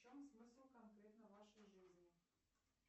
в чем смысл конкретно вашей жизни